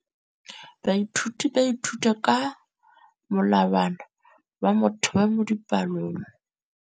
Baithuti ba ithuta ka molawana wa motheo mo dipalong.